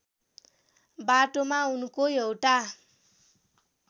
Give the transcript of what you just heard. बाटोमा उनको एउटा